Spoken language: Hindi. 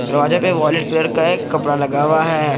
दरवाजे पे वॉलेट कलर का एक कपड़ा लगा हुआ है।